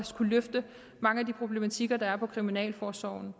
kunne løfte mange af de problematikker der er på kriminalforsorgens